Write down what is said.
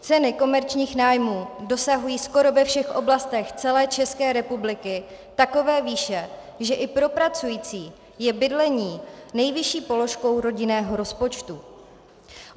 Ceny komerčních nájmů dosahují skoro ve všech oblastech celé České republiky takové výše, že i pro pracující je bydlení nejvyšší položkou rodinného rozpočtu.